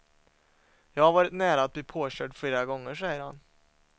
Jag har varit nära att bli påkörd flera gånger, säger han.